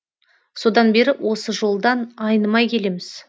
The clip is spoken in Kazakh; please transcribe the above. содан бері осы жолдан айнымай келеміз